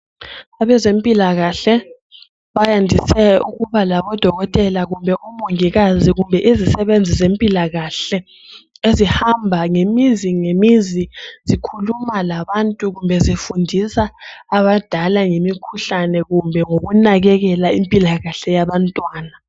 Abezempilakahle bandise ukuhamba labomongikazi behamba ngemizi ngemizi langezimota beselapha abantu loba bethontisela esigabeni.